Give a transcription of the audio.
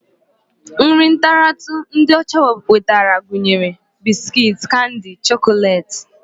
Nri ntaratụ ndị ọcha wetara gụnyere biskit, Kandi, chọkọleeti